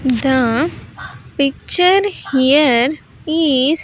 The picture here is --